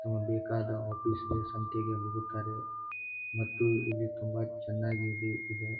ನಮಗೆ ಬೇಕಾದ ಆಫೀಸಿಗೆ ಸಂತೆಗೆ ಹೋಗುತ್ತಾರೆ ಮತ್ತು ಇಲ್ಲಿ ತುಂಬಾ ಚೆನ್ನಾಗಿ ಇದೆ.